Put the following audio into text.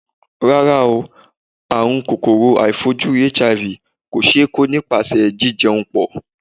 Rárá o, àrùn kòkòrò aàìfojúrí HIV kò ṣe é kó nípasẹ̀ jí jẹun pọ̀.